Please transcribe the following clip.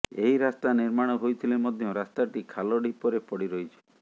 ଏହି ରାସ୍ତା ନିର୍ମାଣ ହୋଇଥିଲେ ମଧ୍ୟ ରାସ୍ତାଟି ଖାଲ ଢିପରେ ପଡ଼ିରହିଛି